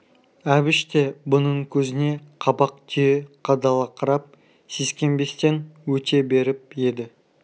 әбіш те бұның көзіне қабақ түйе қадала қарап сескенбестен өте беріп еді